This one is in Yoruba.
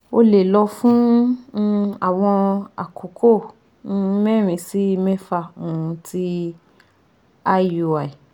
O le lọ fun um awọn akoko um merin si mefa um ti IUI